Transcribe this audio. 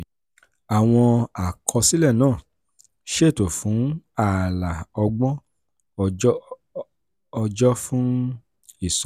àwọn àkọsílẹ̀ náà ṣètò fún ààlà ọgbọ̀n ọjọ́ fún ìsanwó.